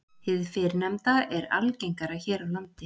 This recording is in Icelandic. Hið fyrrnefnda er algengara hér á landi.